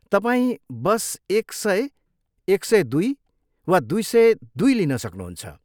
तपाईँ बस एक सय, एक सय दुई वा दुई सय दुई लिन सक्नुहुन्छ।